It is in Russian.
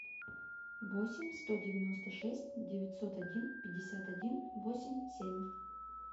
восемь сто девяносто шесть девятьсот один пятьдесят один восемь семь